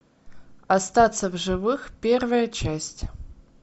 остаться в живых первая часть